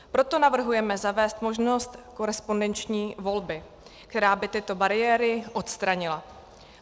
Proto navrhujeme zavést možnost korespondenční volby, která by tyto bariéry odstranila.